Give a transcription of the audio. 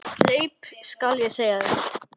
Sleip skal ég segja þér.